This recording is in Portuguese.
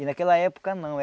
E naquela época, não.